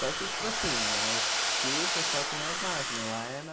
Só que, tipo assim, aqui o pessoal tem as máquinas, lá é na...